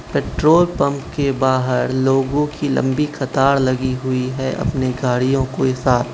Petrol pump के बाहर लोगों की लंबी कतार लगी हुई है अपने गाड़ियों के साथ।